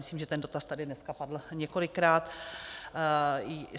Myslím, že ten dotaz tady dneska padl několikrát.